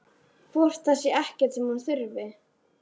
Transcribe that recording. Hvort það sé ekkert sem hún þurfi?